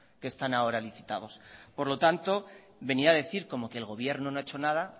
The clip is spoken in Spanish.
que están ahora licitados por lo tanto venía a decir como que el gobierno no ha hecho nada